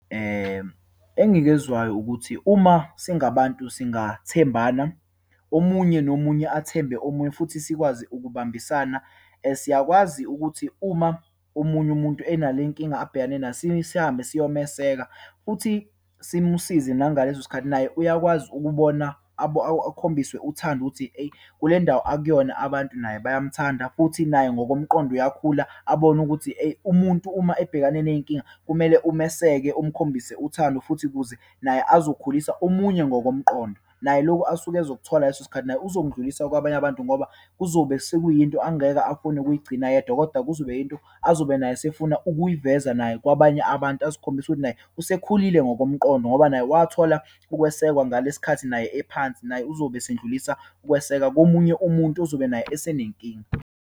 Engikuzwayo ukuthi uma singabantu singathembana. Omunye nomunye athembe omunye, futhi sikwazi ukubambisana. Siyakwazi ukuthi uma omunye umuntu analenkinga abhekene nayo, sihambe siyomeseka, futhi simusize nangaleso sikhathi. Naye uyakwazi ukubona akhombiswe uthando ukuthi, eyi kule ndawo akuyona abantu naye bayamthanda, futhi naye ngokomqondo uyakhula, abone ukuthi, eyi umuntu, uma ebhekane neyinkinga kumele umeseke, umkhombise uthando futhi kuze naye ezokhulisa omunye ngokomqondo. Naye lokhu asuke ozokuthola leso sikhathi naye uzokundlulisa kwabanye abantu, ngoba kuzobe sekuyinto angeke afune ukuyigcina yedwa, kodwa kuzobe kuyinto azobe naye esefuna ukuyiveza naye kwabanye abantu, asikhombisa ukuthi naye, usekhulile ngokomqondo ngoba naye wathola ukwesekwa ngalesikhathi naye ephansi. Naye uzobe esendlulisa ukweseka komunye umuntu ozobe naye esenenkinga.